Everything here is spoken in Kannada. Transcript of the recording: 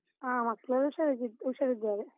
ಹ, ಮಕ್ಳೆಲ್ಲ ಹುಷಾರಾಗಿದ್~ ಹುಷಾರಿದ್ದಾರೆ.